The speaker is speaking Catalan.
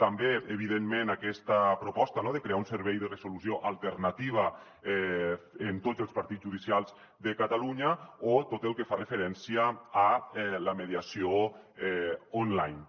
també evidentment aquesta proposta de crear un servei de resolució alternativa en tots els partits judicials de catalunya o tot el que fa referència a la mediació online